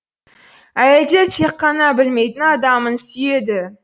әйелдер тек қана білмейтін адамын сүйеді